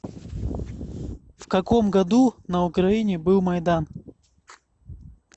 в каком году на украине был майдан